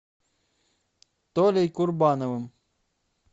толей курбановым